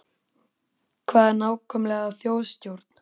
Hvað er nákvæmlega þjóðstjórn?